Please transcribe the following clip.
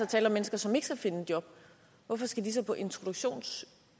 tale om mennesker som ikke skal finde et job hvorfor skal de så på introduktionsydelse